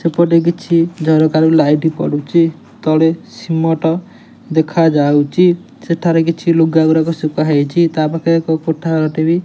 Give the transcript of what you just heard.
ଏପଟେ କିଛି ଜରୁରୀ କାଳୀନ ଲାଇଟ୍ ପଡୁଛି ତଳେ ସିମେଣ୍ଟ ଦେଖା ଯାଉଛି ସେଠାରେ କିଛି ଲୁଗା ଗୁଡ଼ାକ ସୁଖା ହେଇଛି ତାପାଖେ କୋଠା ଗୋଟେ --